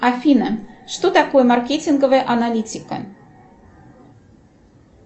афина что такое маркетинговая аналитика